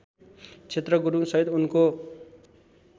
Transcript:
क्षेत्र गुरुङसहित उनको